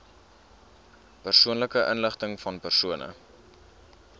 persoonlike inligtingvan persone